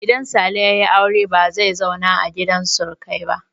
Idan Sale ya yi aure ba zai zauna a gidan surukai ba.